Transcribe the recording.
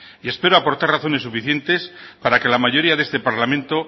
y espero aportar razones suficientes para que la mayoría de este parlamento